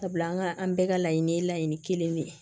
Sabula an ka an bɛɛ ka laɲini ye laɲini kelen de ye